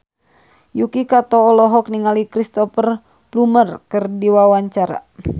Yuki Kato olohok ningali Cristhoper Plumer keur diwawancara